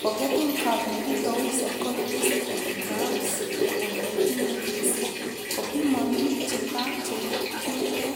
Forgeting Curve nekitou Psychologist Ebbinghaus eng 1880s,kopimani chetaa chekiutee